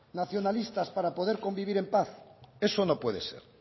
nacionalistas para poder convivir en paz eso no puede ser